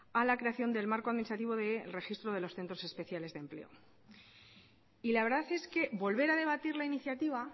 a la creación del marco administrativo de registro de los centros especiales de empleo y la verdad es que volver a debatir la iniciativa